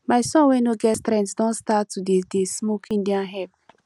my son wey no get strength don start to dey dey smoke indian hemp